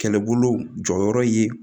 Kɛlɛbolo jɔyɔrɔ ye